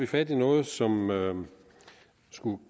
fat i noget som man